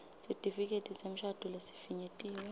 sitifiketi semshado lesifinyetiwe